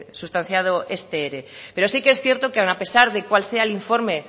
sustanciado este ere pero sí que es cierto que aun a pesar de cuál sea el informe